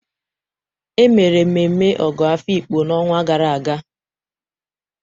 E mere mmemme Ogo Afikpo n'ọnwa gara aga.